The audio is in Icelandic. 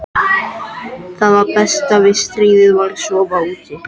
Það besta við stríðið var að sofa úti.